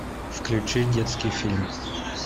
включи детский фильм